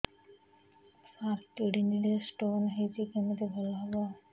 ସାର kidney ରେ stone ହେଇଛି କମିତି ଭଲ ହେବ